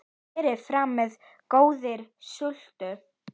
Berið fram með góðri sultu.